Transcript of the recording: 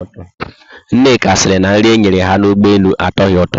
Nneka siri na nri enyere ha na Ụgbọelu atoghi ụtọ